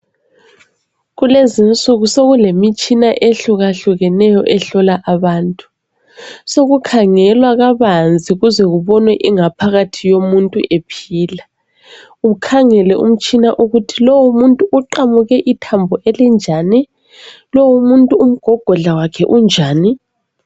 Kulezinsuku sokulemitshina ehlukahlukenyo ehlola abantu, sokukhangelwa kabanzi kuze kubonwe ingaphakathi yomuntu ephila, ukhangele umtshina ukuthi lowu muntu uqamuke ithambo elinjani, lowu muntu umgogodla wakhe unjani